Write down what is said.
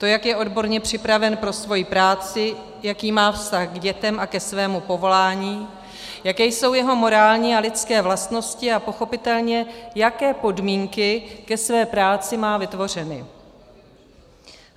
To, jak je odborně připraven pro svoji práci, jaký má vztah k dětem a ke svému povolání, jaké jsou jeho morální a lidské vlastnosti, a pochopitelně, jaké podmínky ke své práci má vytvořeny.